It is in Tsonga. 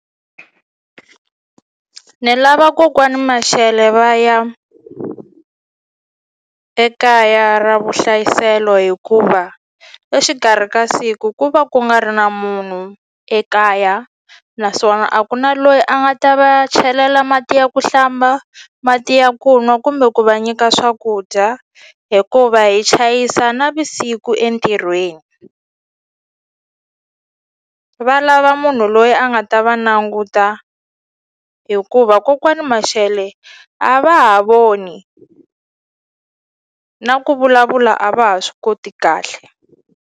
Ni lava kokwani Mashele va ya ekaya ra vuhlayiselo hikuva exikarhi ka siku ku va ku nga ri na munhu ekaya naswona a ku na loyi a nga ta va chelela mati ya ku hlamba mati ya ku nwa kumbe ku va nyika swakudya hikuva hi chayisa navisiku entirhweni, va lava munhu loyi a nga ta va languta hikuva kokwani Mashele a va ha voni na ku vulavula a va ha swi koti kahle.